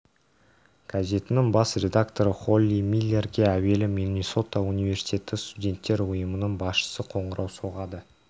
газетінің бас редакторы холли миллерге әуелі миннесота университеті студенттер ұйымының басшысы қоңырау соғады